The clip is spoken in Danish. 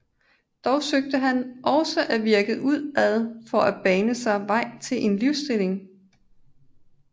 Dog søgte han også at virke udad for at bane sig vej til en livsstilling